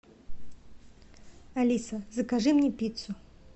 алиса закажи мне пиццу